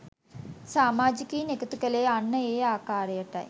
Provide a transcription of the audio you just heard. සාමාජිකයින් එකතු කළේ අන්න ඒ ආකාරටයි